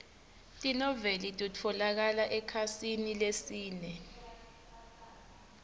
tinoueli titfolokala ekhasini lesine